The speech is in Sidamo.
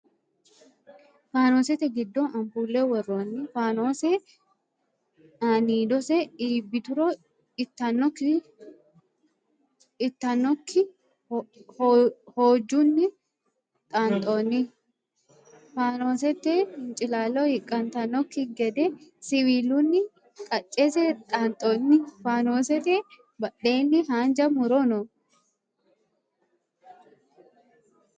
Faanosete giddo ampuule worroonni. Faanose aaniidose iibbituro ittannokki hojjunni xaanxoonni. Faanosete hincilaalo hiqantannokki gede siwiilunni kaccese xaanxoonni. Faanoosete badheenni haanja muro no.